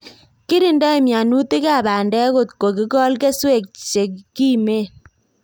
Kikirindoi mianutik ab pandek kotko kikol keswek che kimen